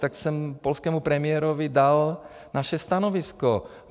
Tak jsem polskému premiérovi dal naše stanovisko.